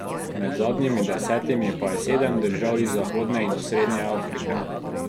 Med zadnjimi desetimi pa je sedem držav iz zahodne in osrednje Afrike.